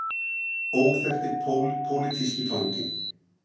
Óþekkti pólitíski fanginn.